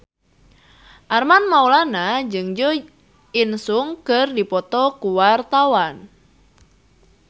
Armand Maulana jeung Jo In Sung keur dipoto ku wartawan